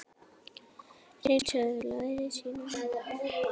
Hreinn söðlaði síðan um.